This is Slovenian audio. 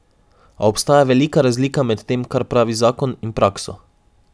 A obstaja velika razlika med tem, kar pravi zakon, in prakso.